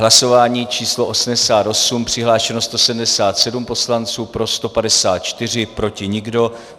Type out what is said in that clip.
Hlasování číslo 88, přihlášeno 177 poslanců, pro 154, proti nikdo.